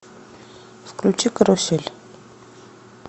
включи карусель